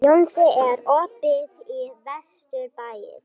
Jónsi, er opið í Vesturbæjarís?